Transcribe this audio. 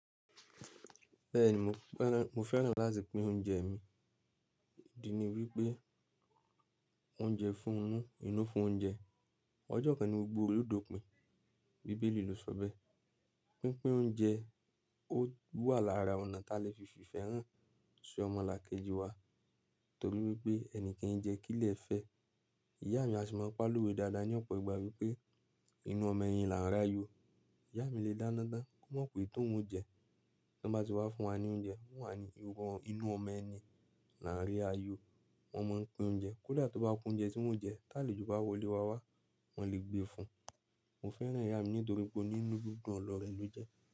Bẹ́ẹ̀ni mo fẹ́ràn láti pín oúnjẹ mi. Ìdí ni wípé oúnjẹ fún inú inú fún oúnjẹ. Ọjọ́ kan ni gbogbo olódó pín, bíbélì lò sọ bẹ́. Pínpín oúnjẹ ó wà lára ọ̀nà ta lè fi fife han ṣi ọmọlàkejì wa torí wípé ẹni ki n jẹ́ kílè fẹ́. Ìyá mi a sì máa ń pa lowe dáadáa ní ọ̀pọ̀ ìgbà wípé inú ọmọ ẹyin là ń ràyọ. Ìyá mi lè dáná tán kó mọ̀ pé tòun jẹ, tí wọ́n bá ti wá fún wa ní oúnjẹ, wọ́n wá ni inú ọmọ ẹni là ń ri ayọ. Wọ́n máa ń pín oúnjẹ kódà tí ó bá kun oúnjẹ tí wọ́n jẹ táàlì tóbá wọlé wá wá, wọn lè gbé fún. Mo fẹ́ràn ìyá mi nítorí pe oni dídùn oloore ni o je.